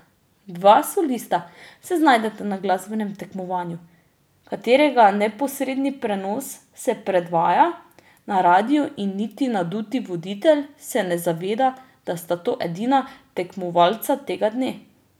Dva solista se znajdeta na glasbenem tekmovanju, katerega neposredni prenos se predvaja na radiu, in niti naduti voditelj se ne zaveda, da sta to edina tekmovalca tega dne.